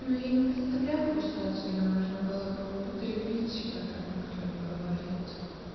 ну я не представляю в какую ситуацию можно было бы употребить типа так никто не говорит